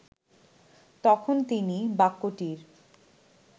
তখন তিনি বাক্যটির